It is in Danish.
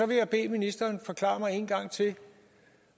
vil jeg bede ministeren forklare mig en gang til